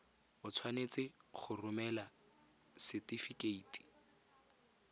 o tshwanetse go romela setefikeiti